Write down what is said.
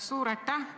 Suur aitäh!